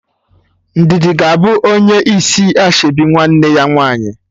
Ndidi ga-abụ onye isi ashebi nwanne ya nwaanyị